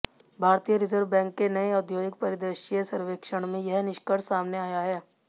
भारतीय reserve bank के नये औद्योगिक परिदृश्य सर्वेक्षण में यह निष्कर्ष सामने आया है